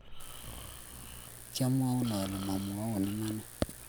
kiamwoun ale mwommwoun iman